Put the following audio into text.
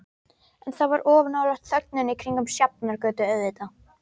En það var of nálægt þögninni kringum Sjafnargötu, auðvitað.